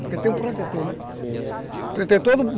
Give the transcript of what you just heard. Porque tem um protetor, né? Sim... Protetor